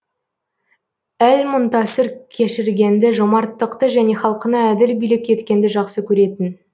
әл мұнтасыр кешіргенді жомарттықты және халқына әділ билік еткенді жақсы көретін